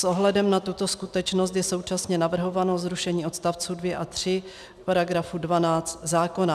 S ohledem na tuto skutečnost je současně navrhováno zrušení odstavců 2 a 3 paragrafu 12 zákona.